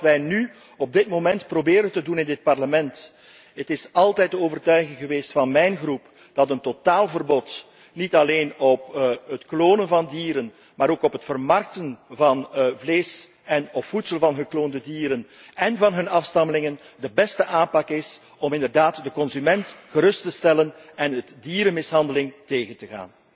Dat is wat wij nu op dit moment in dit Parlement proberen te doen. Het is altijd de overtuiging geweest van mijn fractie dat een totaalverbod, niet alleen op het klonen van dieren, maar ook op het vermarkten van vlees, én op voedsel van gekloonde dieren en hun afstammelingen, de beste aanpak is om inderdaad de consument gerust te stellen en dierenmishandeling tegen te